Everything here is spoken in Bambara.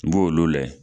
N b'olu layɛ